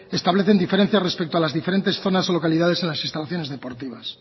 establecen diferencias respecto a las diferentes zonas o localidades en las instalaciones deportivas